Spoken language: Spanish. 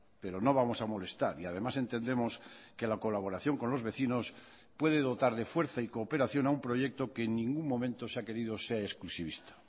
pero no vamos a molestar y además entendemos que la colaboración con los vecinos puede dotar de fuerza y cooperación a un proyecto que en ningún momento se ha querido sea exclusivista